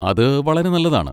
അത് വളരെ നല്ലതാണ്.